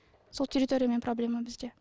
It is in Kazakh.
сол территориямен проблема бізде